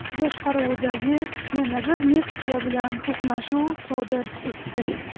boshqaruvidagi yana bir Nexia bilan to‘qnashuv sodir etdi.